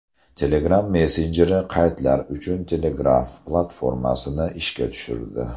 Telegram messenjeri qaydlar uchun Telegraph platformasini ishga tushirdi.